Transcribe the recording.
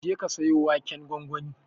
Jeka ka siyo waken gwangwani.